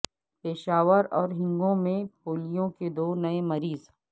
پشاور اور ہنگو میں پولیو کے دو نئے مریض